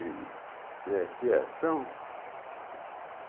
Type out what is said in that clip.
e e a criação.